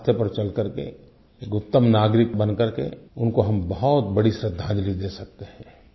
उस रास्ते पर चल कर के एक उत्तम नागरिक बन कर के उनको हम बहुत बड़ी श्रधांजलि दे सकते हैं